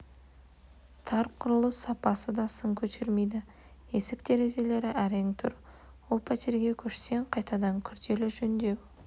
тар құрылыс сапасы да сын көтермейді есік-терезелері әрең тұр ол пәтерге көшсең қайтадан күрделі жөндеу